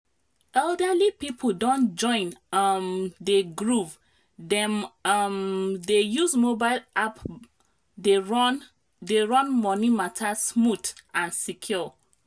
elderly people don join um the groove—dem um dey use mobile banking app dey run dey run money matter smooth and secure.